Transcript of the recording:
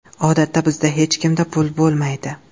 Odatda bizda hech kimda pul bo‘lmaydi.